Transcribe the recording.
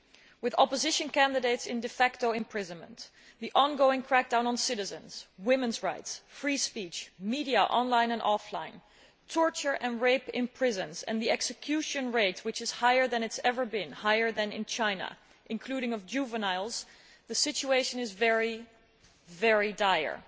With opposition candidates in imprisonment, the ongoing crackdown on citizens, women's rights, free speech, media online and offline, torture and rape in prisons and the execution rate higher than it has ever been higher than in China including juveniles, the situation is very, very dire.